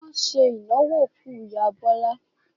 Wọn ṣe ìnáwó òkú ìyá Bọ́lá.